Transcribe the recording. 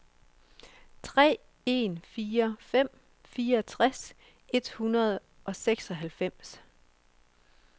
tre en fire fem fireogtres et hundrede og seksoghalvfems